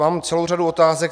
Mám celou řadu otázek.